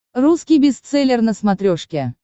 русский бестселлер на смотрешке